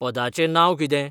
पदाचें नांव कितें